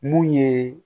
Mun ye